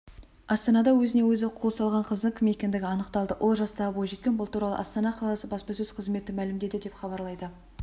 астанада өзіне-өзі қол салған қыздың кім екендігі анықталды ол жастағы бойжеткен бұл туралы астана қаласы баспасөз қызметі мәлімдеді деп хабарлайды